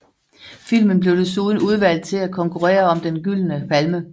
Filmen blev desuden udvalgt til at konkurrere om Den Gyldne Palme